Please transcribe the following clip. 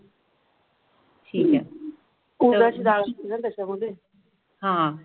त्याच्यामध्ये आह